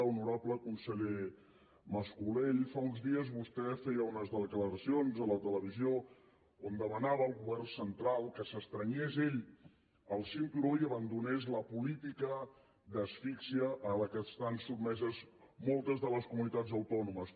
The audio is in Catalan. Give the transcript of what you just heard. honorable conseller mas colell fa uns dies vostè feia unes declaracions a la televisió on demanava al govern central que s’estrenyés ell el cinturó i abandonés la política d’asfíxia a la qual estan sotmeses moltes de les comunitats autònomes